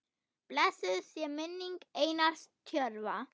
Blessuð sé minning Einars Tjörva.